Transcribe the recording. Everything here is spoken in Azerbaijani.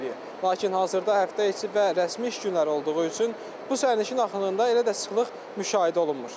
Lakin hazırda həftə içi və rəsmi iş günləri olduğu üçün bu sərnişin axınında elə də sıxlıq müşahidə olunmur.